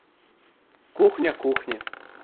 кухня кухня